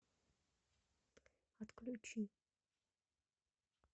отключи